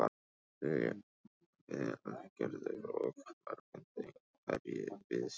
Lillý Valgerður: Og morgundagurinn, hverju býstu við?